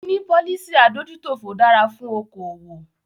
Níní policy adójútòfò dára fún okoòwò.